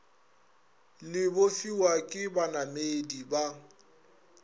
le bofiwa ke banamedi ba